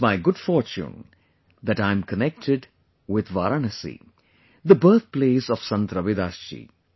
It's my good fortune that I am connected with Varanasi, the birth place of Sant Ravidas ji